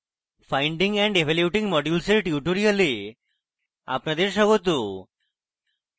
finding and evaluating modules এর tutorial আপনাদের স্বাগত